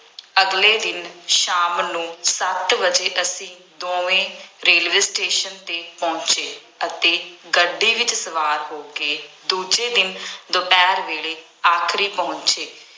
ਅਗਲੇ ਦਿਨ ਸ਼ਾਮ ਨੂੰ ਸੱਤ ਵਜੇ ਅਸੀਂ ਦੋਵੇਂ ਰੇਲਵੇ ਸਟੇਸ਼ਨ ਤੇ ਪਹੁੰਚੇ ਅਤੇ ਗੱਡੀ ਵਿੱਚ ਸਵਾਰ ਹੋ ਕੇ ਦੂਜੇ ਦਿਨ ਦੁਪਹਿਰ ਵੇਲੇ ਆਗਰੇ ਪਹੁੰਚੇ।